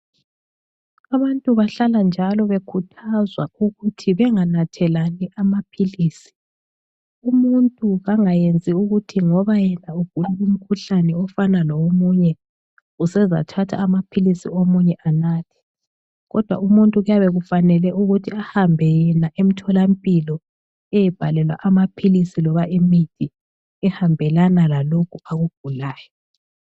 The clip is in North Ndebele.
Abantu bahlalanjalo bekhuthazwa ukuthi benganathelani amaphilisi. Umuntu kangayenzi ukuthi ngoba yena ugula umkhuhlane ofana lowomunye, usezathatha amaphilisi omunye anathe. Kodwa umuntu kuyabekufanele ukuthi ahambe yena emtholampilo, eyebhalelwa amaphilisi loba imithi ehambelana lalokhu akugulayo.